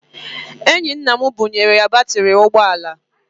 Enyi nna m bunyere ya batịrị ụgbọala.